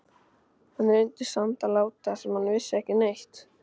Hann reyndi samt að láta sem hann vissi ekki neitt.